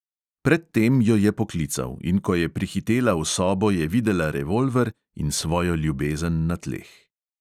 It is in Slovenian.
Pred tem jo je poklical, in ko je prihitela v sobo, je videla revolver in svojo ljubezen na tleh.